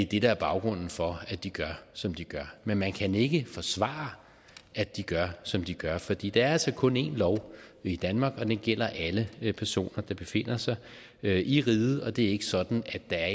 det der er baggrunden for at de gør som de gør men man kan ikke forsvare at de gør som de gør fordi der er altså kun en lov i danmark og den gælder alle personer der befinder sig i riget det er ikke sådan at der er